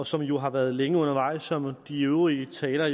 som jo har været længe undervejs som de øvrige talere